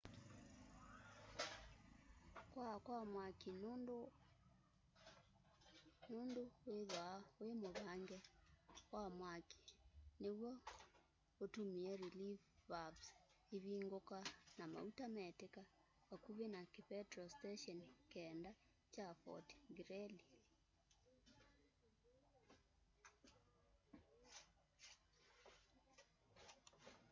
kwaa kwa mwaki nundu wa undu withwaa wi muvange wa mwaki niw'o utumie relief valves ivunguka na mauta metika vakuvi na kipetro station 9 kya fort greely